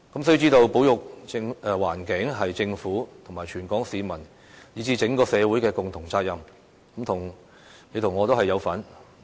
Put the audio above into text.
須知道，保育環境是政府、全港市民以至整個社會的共同責任，你我都有份。